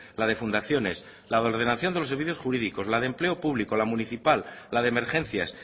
la de fundaciones la de ordenación de los servicios jurídicos la de empleo público la municipal la de emergencias